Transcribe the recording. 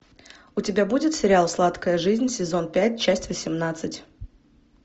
у тебя будет сериал сладкая жизнь сезон пять часть восемнадцать